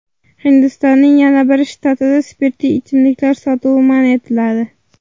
Hindistonning yana bir shtatida spirtli ichimliklar sotuvi man etiladi .